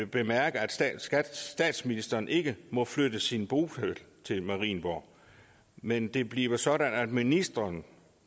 bemærke at statsministeren ikke må flytte sin bopæl til marienborg men det bliver sådan at ministeren